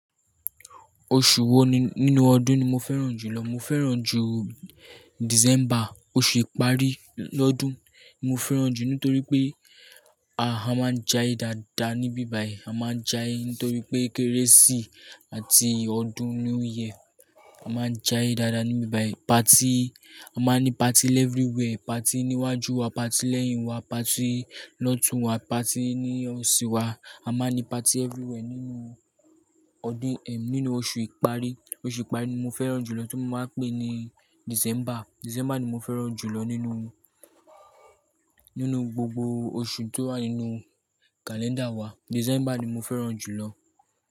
Oṣù wo nínú ọdún ni mo fẹ́ràn jùlọ. Mo fẹ́ràn jù December, oṣù ìparí lọ́dún ni mo fẹ́ràn jù nítorí pé a máa ń jaiye dáadáa níbi báyìí. A máa ń jaiye nítorí pé Kérésì àti ọdún new year. A máa ń j'ai dáadáa níbi báyìí. Party, a máa ń ní party ni everywhere, party ní iwájú wa, party lẹ́yìn wa, party lọ́tun wa, party ní oṣi wa. A máa ń ní party everywhere nínú ọdún ẹ, nínú oṣù ìparí. Oṣù ìparí ni mo fẹ́ràn jùlọ tí mo máa ń pè ní December. December ni mo fẹ́ràn jùlọ nínú, nínú gbogbo oṣù tó wà nínú kàléńdà wa. December ni mo fẹ́ràn jùlọ.